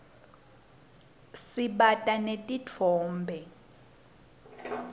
sibata netitfombe